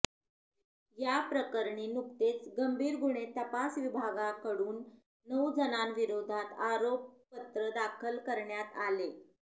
या प्रकरणी नुकतेच गंभीर गुन्हे तपास विभागाकडून नऊ जणांविरोधात आरोपपत्र दाखल करण्यात आले